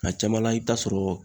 Ng'a caman la i bɛ taa sɔrɔ